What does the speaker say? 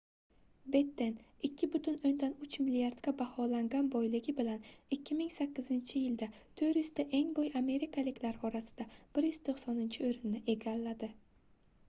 betten 2,3 milliardga baholangan boyligi bilan 2008 yilda 400 ta eng boy amerikaliklar orasida 190-oʻrinni egalladi